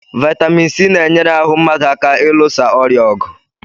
Vitamin C na-enyere ahụ mmadụ aka ilusa ọrịa ọgụ